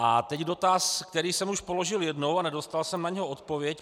A teď dotaz, který jsem už položil jednou a nedostal jsem na něj odpověď.